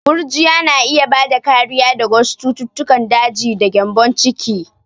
Gurjiya na iya bada kariya daga wasu cututtukan daji da gyambon ciki.